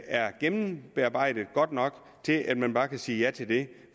er gennembearbejdet godt nok til at man bare kan sige ja til det